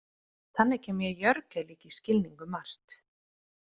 Þannig kem ég Jorge líka í skilning um margt.